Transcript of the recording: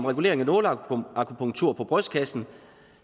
regulering af nåleakupunktur på brystkassen